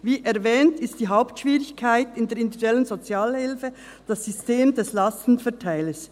Wie erwähnt ist die Hauptschwierigkeit in der individuellen Sozialhilfe das System des Lastenverteilers.